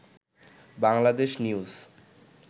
Bangladesh news